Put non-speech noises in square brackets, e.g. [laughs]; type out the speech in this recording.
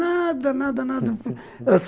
Nada, nada, nada [laughs]